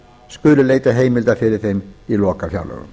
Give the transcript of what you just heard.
skuli leita heimilda fyrir þeim í lokafjárlögum